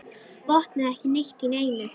Botnaði ekki neitt í neinu.